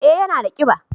eh ya na da kiba